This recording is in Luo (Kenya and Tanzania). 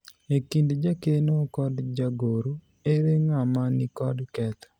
e kind jakeno kod jagoro ,ere ng'ama nikod ketho